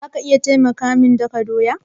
Za ki iya taimaka min daka doya?